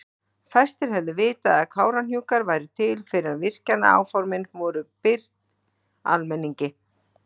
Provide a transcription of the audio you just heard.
Fæstir hefðu vitað að Kárahnjúkar væru til fyrr en virkjanaáformin voru birt almenningi.